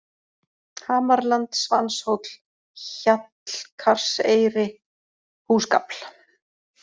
Hamarland, Svanshóll, Hjallkarseyri, Húsgafl